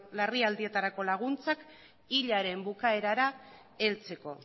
larrialdietarako laguntzak hilaren bukaerara heltzeko